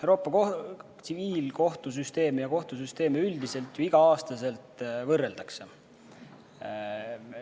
Euroopa tsiviilkohtusüsteemi ja kohtusüsteemi üldiselt igal aastal võrreldakse.